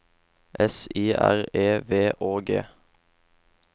S I R E V Å G